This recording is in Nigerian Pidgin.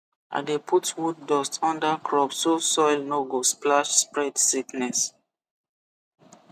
i dey put wood dust under crop so soil no go splash spread sickness